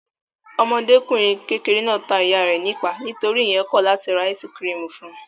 Ọmọdékùnrin kékeré náà ta ìyá rẹ̀ nípàá nítorí ìyẹn kọ̀ láti ra áísí-kirìmì fún un.